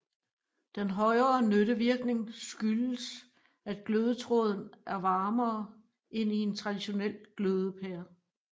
Den højere nyttevirkning skyldes at glødetråden er varmere end i en traditionel glødepære